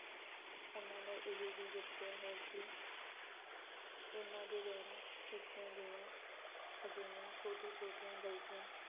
ਉਹਨਾਂ ਨੇ ਇਹ ਵੀ ਦੱਸਿਆ ਹੈ ਕਿ ਇਹਨਾਂ ਦੇ ਦੁਆਰਾ ਕੀਤੀਆਂ ਗਈਆਂ ਅਜਿਹੀਆਂ ਛੋਟੀਆਂ-ਛੋਟੀਆਂ ਗਲਤੀਆਂ